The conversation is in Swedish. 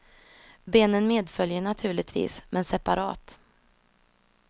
Benen medföljer naturligtvis, men separat.